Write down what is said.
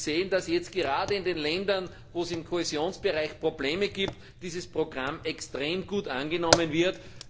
Wir sehen, dass jetzt gerade in den Ländern, in denen es im Kohäsionsbereich Probleme gibt, dieses Programm extrem gut angenommen wird.